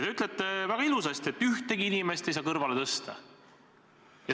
Te ütlete väga ilusasti, et ühtegi inimest ei saa kõrvale tõsta.